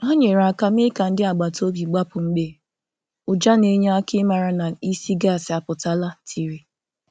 Hà nyere aka mee ka ndị agbata obi gbapụ̀ mgbe ụjà na enye aka i mara na ísì gas apụtala tiri.